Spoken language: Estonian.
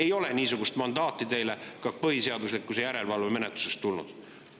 Ei ole niisugust mandaati teile ka põhiseaduslikkuse järelevalve menetlusest tulnud.